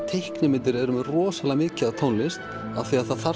teiknimyndir eru með rosalega mikið af tónlist af því það þarf